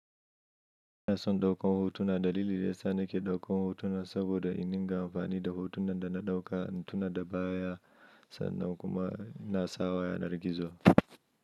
Ina son ɗaukar hotuna. Dalili da ya sa nake ɗaukar hotuna saboda iniga amfani da hotunan da na ɗauka in tuna da baya sannan kuma in na sawa yanar gizo.